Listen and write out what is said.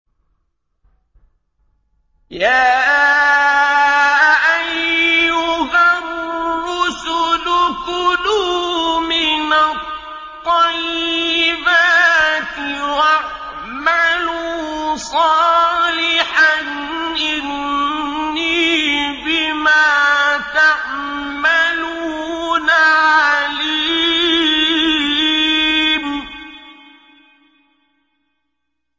يَا أَيُّهَا الرُّسُلُ كُلُوا مِنَ الطَّيِّبَاتِ وَاعْمَلُوا صَالِحًا ۖ إِنِّي بِمَا تَعْمَلُونَ عَلِيمٌ